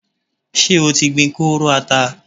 Ṣé o ti gbin kóóró ata?